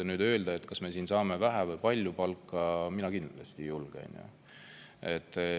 Nüüd öelda, kas me saame vähe või palju palka, mina kindlasti ei julge.